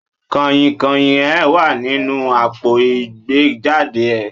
Kànyìnkànyìn e wa ninu àpo ìgbéjade e